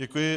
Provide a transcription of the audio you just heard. Děkuji.